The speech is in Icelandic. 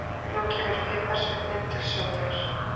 Nú kemur piparsveinninn til sögunnar.